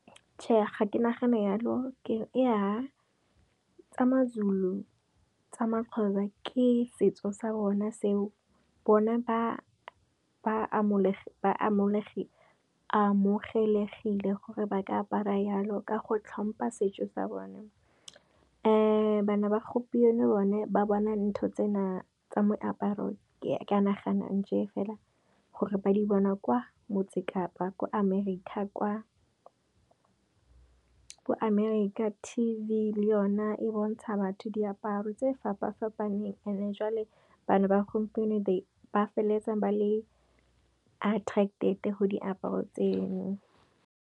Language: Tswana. Tjhe ga ke nagana yalo, ea tsa Mazulu, tsa Maxhosa ke setso sa bona seo, bone ba amogelegile gore ba ka apara yalo ka go tlhompha setso sa bone. Bana ba gompieno bone ba bona ntho tsena tsa moaparo, ke a nagana nje fela gore ba di bona kwa Motse Kapa ko Amerika kwa. Ko Amerika T_V le yona e bontsha batho diaparo tse fapa fapaneng and e jwale bana ba gompieno ba feleletsa ba le attracted go diaparo tseno.